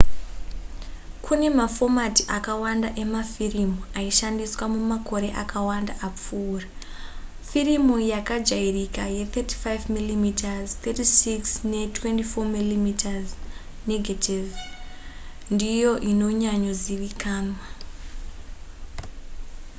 kune mafomati akawanda emafirimu aishandiswa mumakore akawanda apfuura. firimu yakajairika ye35 mm 36 ne 24 mm negetivhi ndiyo inonyanyozivikanwa